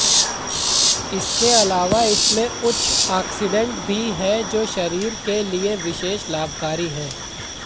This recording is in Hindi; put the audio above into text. इसके अलावा इसमें उच्च आक्सीडेंट भी है जो शरीर के लिए विशेष लाभकारी है